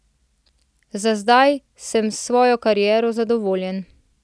Za zdaj sem s svojo kariero zadovoljen.